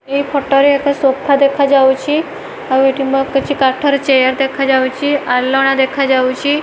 ଏଇ ଫଟୋ ରେ ଏକ ସୋଫା ଦେଖାଯାଉଚି ଆଉ ଏଠି ମ କିଛି କାଠରେ ଚେୟାର୍ ଦେଖାଯାଉଚି ଆଲଣା ଦେଖାଯାଉଚି ।